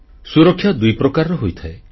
ସୁରକ୍ଷା ଦୁଇ ପ୍ରକାରର ହୋଇଥାଏ